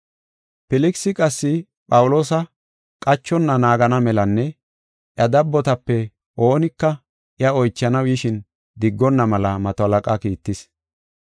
Filkisi qassi Phawuloosa qachonna naagana melanne iya dabbotape oonika iya oychanaw yishin diggonna mela mato halaqaa kiittis.